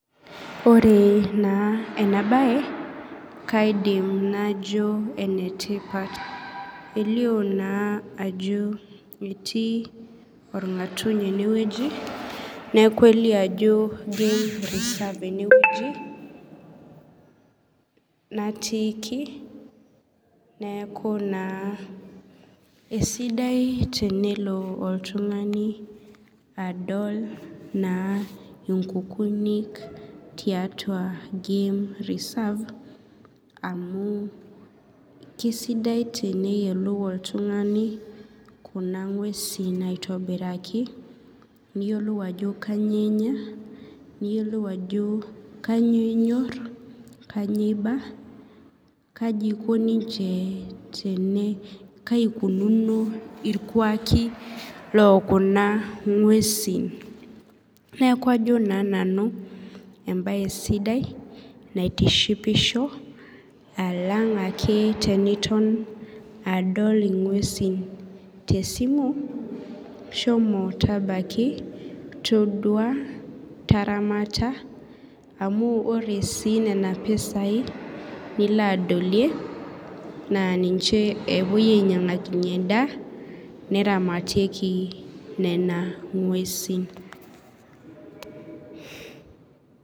Ore na enabae kaidim najo enetipat elio na ajo etii orngatuny enewueji neaku kelio ajo reserve enewueji nattiki neaku na esidai tenelo oltunganu adol nkukuniik tiatua game reserve amu kesdidai teneyiolou oltungani kuna ngwesi aitobiraki neyiolou ajo kanyio enya niyiolou ajo kanyio inyor kanyio imba kai Ikunono irkuaki lokuna ngwesi neaku ajo na nanu embae sidai naitishipisho alanga ake eniton adol ngwesi tesimu shomo tabaki taramata amu ore si nona pisai nilo adolie na ninche epuoi ainyangakinyie endaa naramatieki nona ngwesi.